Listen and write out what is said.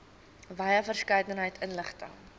wye verskeidenheid inligting